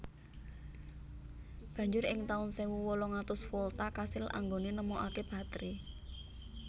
Banjur ing taun sewu wolung atus Volta kasil anggone nemokake batre